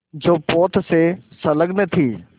जो पोत से संलग्न थी